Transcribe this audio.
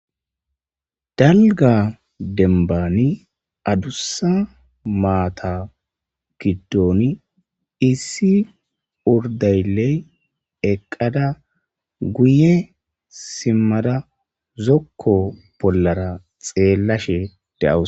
Dalga dembani, adusa maata gidoni ,issi uridaleyi eqada guye simada zoko bollara xeelashe de'awus.